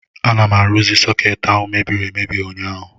Ana m arụzi sọkeetị ahụ mebiri emebi ụnyaahụ